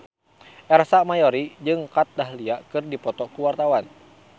Ersa Mayori jeung Kat Dahlia keur dipoto ku wartawan